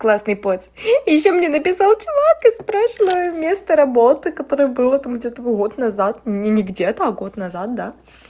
классный парень и ещё мне написал парень из прошлого места работы которое было там где-то год назад не не где-то а год назад да